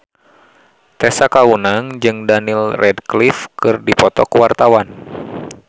Tessa Kaunang jeung Daniel Radcliffe keur dipoto ku wartawan